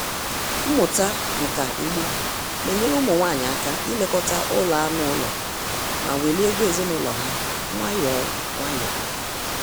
Mmụta nka ugbo na-enyere ụmụ nwanyị aka ilekọta ụlọ anụ ụlọ ma welie ego ezinụlọ ha nwayọọ nwayọọ